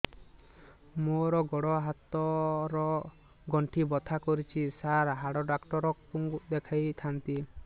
ମୋର ଗୋଡ ହାତ ର ଗଣ୍ଠି ବଥା କରୁଛି ସାର ହାଡ଼ ଡାକ୍ତର ଙ୍କୁ ଦେଖାଇ ଥାନ୍ତି